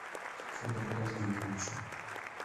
федору казбековичу